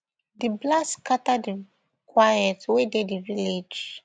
di blast scatter di quiet wey dey di village